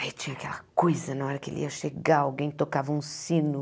Aí tinha aquela coisa, na hora que ele ia chegar, alguém tocava um sino.